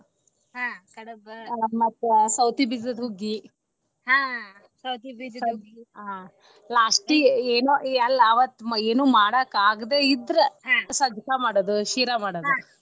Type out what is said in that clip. ಮತ್ತ ಸವತಿ ಬೀಜದ ಹುಗ್ಗಿ last ಗ ಏನು ಅಲ ಅವತ್ತ ಏನು ಮಾಡಾಕ ಆಗ್ದೇ ಇದ್ರ ಸಜ್ಜಕಾ ಮಾಡೋದು ಶೀರಾ ಮಾಡೋದು .